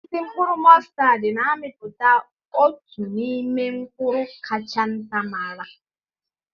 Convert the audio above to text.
Osisi mkpụrụ mọstad na-amịpụta otu n'ime mkpụrụ kacha nta mara.